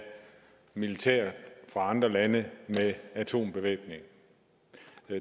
militær fra andre lande med atombevæbning